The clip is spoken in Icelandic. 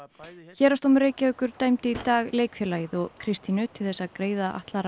héraðsdómur Reykjavíkur dæmdi í dag leikfélagið og Kristínu til þess að greiða Atla